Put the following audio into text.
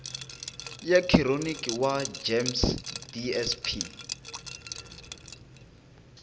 ya khironiki wa gems dsp